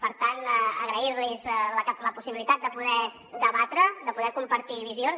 per tant agrair los la possibilitat de poder debatre de poder compartir visions